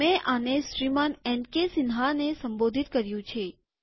મેં આને શ્રીમાનએનકેસિન્હાને સંબોધિત કર્યું છે